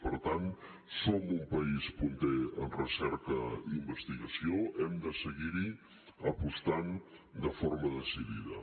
per tant som un país punter en recerca i investigació hem de seguir hi apostant de forma decidida